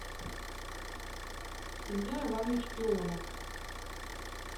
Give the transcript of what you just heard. илья иванович ионов